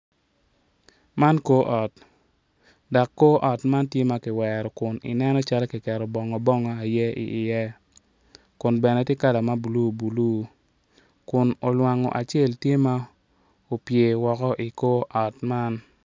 Lutini dok lutini man gitye ka ngwec kun gitye madwong adada kun gin weng gitye ma oruko bongo mapafipadi dok kalane tye patpat kungin tye ka ngwec i yo gudo ma otal adada.